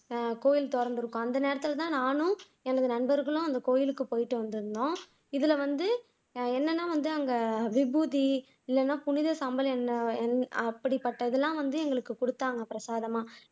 கோயில் திறந்திருக்கும் அந்த நேரத்துல தான் நானும் எனது நண்பர்களும் அந்த கோயிலுக்கு போயிட்டு வந்திருந்தோம் இதுல வந்து என்னன்னா வந்து அங்க விபூதி இல்லேனா புனித அப்படிப்பட்டதெல்லாம் வந்து எங்களுக்கு குடுத்தாங்க பிரசாதமா